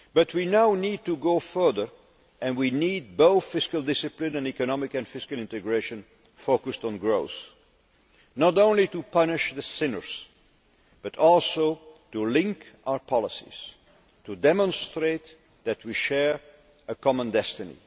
We now need to go further, and we need both fiscal discipline and economic and fiscal integration focused on growth not only to punish the sinners but also to link our policies, to demonstrate that we share a common destiny.